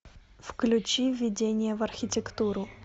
включи введение в архитектуру